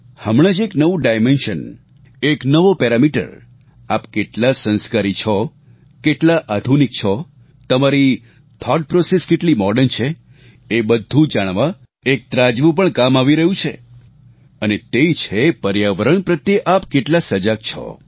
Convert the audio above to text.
હમણાં જ એક નવું ડાયમેન્શન એક નવો પેરામીટર આપ કેટલા સંસ્કારી છો કેટલા આધુનિક છો તમારી થાઉટ પ્રોસેસ કેટલી મોડર્ન છે એ બધું જાણવા એક ત્રાજવું પણ કામ આવી રહ્યું છે અને તે છે પર્યાવરણ પ્રત્યે આપ કેટલા સજાગ છો